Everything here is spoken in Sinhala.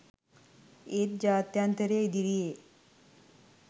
ඒත් ජාත්‍යන්තරය ඉදිරියේ